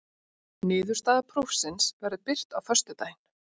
Niðurstaða prófsins verður birt á föstudaginn